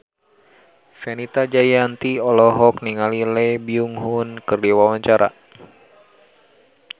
Fenita Jayanti olohok ningali Lee Byung Hun keur diwawancara